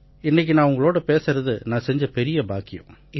இன்னைக்கு நான் உங்ககூட பேசுறது நான் செஞ்ச பெரிய பாக்கியம்